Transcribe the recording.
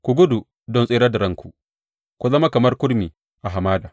Ku gudu don tserar da ranku; ku zama kamar kurmi a hamada.